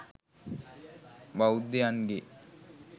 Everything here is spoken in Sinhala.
බෞද්ධයන්ගේ